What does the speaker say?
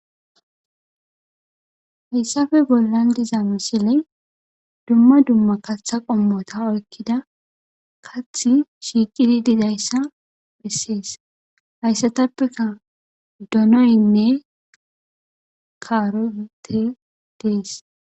hayssape bollan diza misile dumma dumma katha qommota oykkida kathi shiiqidi didayssa bessees hayssatappeka donoynne kaarote dees.